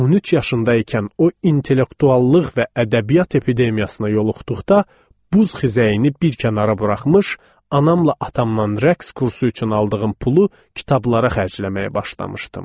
13 yaşında ikən o intellektuallıq və ədəbiyyat epidemiyasına yoluxduqda buz xizəyini bir kənara buraxmış, anamla atamdan rəqs kursu üçün aldığım pulu kitablara xərcləməyə başlamışdım.